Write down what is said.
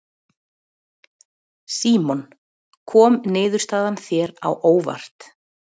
Símon: Kom niðurstaðan þér á óvart?